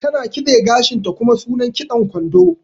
Ta na kitse gashin ta, kuma sunan kitson kwando.